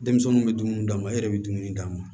Denmisɛnninw bɛ dumuni d'an ma e yɛrɛ bɛ dumuni d'a ma